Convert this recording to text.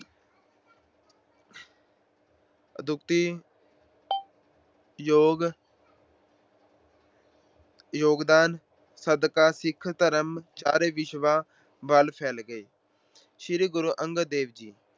ਅਦੁੱਤੀ ਯੋਗ ਅਹ ਯੋਗਦਾਨ ਸਦਕਾ ਸਿੱਖ ਧਰਮ ਚਾਰੇਂ ਦਿਸ਼ਾਵਾਂ ਵੱਲ ਫੈਲ ਗਿਆ। ਗੁਰੂ ਅੰਗਦ ਦੇਵ ਜੀ